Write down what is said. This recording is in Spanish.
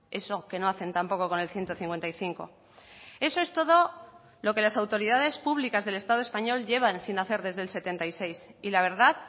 eso que no hacen tampoco con el ciento cincuenta y cinco eso es todo lo que las autoridades públicas del estado español llevan sin hacer desde el setenta y seis y la verdad